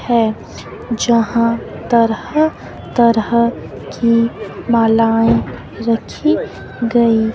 है। जहां तरह-तरहा की मालाएं रखी गई--